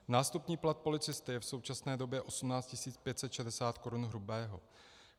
Nástupní plat policisty je v současné době 18 560 korun hrubého.